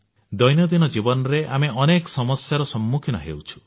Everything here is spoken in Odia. ଦୈନନ୍ଦିନ ଜୀବନରେ ଆମେ ଅନେକ ସମସ୍ୟାର ସମ୍ମୁଖୀନ ହେଉଛୁ